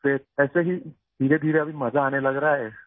پھر آہستہ آہستہ اب مزہ آنے لگا ہے